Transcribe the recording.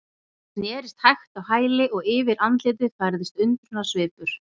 Hann snerist hægt á hæli og yfir andlitið færðist undrunarsvipur.